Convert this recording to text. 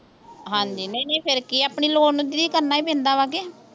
ਹਾਂਜੀ ਨਹੀਂ ਨਹੀਂ ਫੇਰ ਕੀ ਆ ਆਪਣੀ ਲੋੜ ਨੂੰ ਦੀਦੀ ਕਰਨਾ ਹੀ ਪੈਂਦਾ ਵਾ ਕੇ